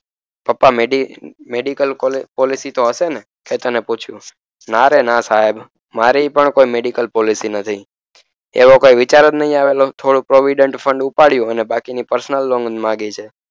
પપ્પા medical policy તો હસેને કેતને પૂછ્યું ના રે ના સાહેબ મારી પણ કોઈ મેડિકલ policy નથી એવો કોઈ વિચાર જ નઇઆવેલો થોડુક provident fund ઉપાડયું અને બાકીની personal loan માંગી છે